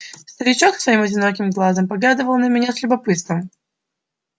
старичок своим одиноким глазом поглядывал на меня с любопытством